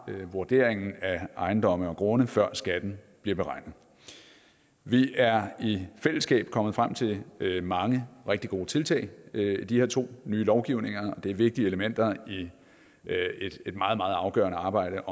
vurderingen af ejendomme og grunde før skatten bliver beregnet vi er i fællesskab kommet frem til mange rigtig gode tiltag de her to nye lovgivninger er vigtige elementer i et meget meget afgørende arbejde